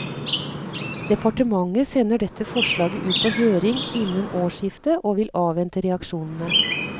Departementet sender dette forslaget ut på høring innen årsskiftet og vil avvente reaksjonene.